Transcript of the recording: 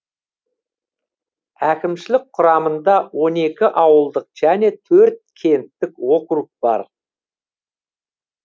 әкімшілік құрамында он екі ауылдық және төрт кенттік округ бар